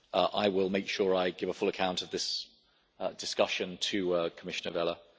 I will make sure I give a full account of this discussion to Commissioner Vella.